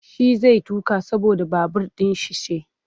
Shi zai tuƙa saboda babur ɗin shi ce.